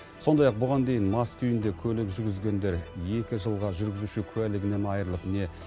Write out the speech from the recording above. сондай ақ бұған дейін мас күйінде көлік жүргізгендер екі жылға жүргізуші куәлігінен айырылып не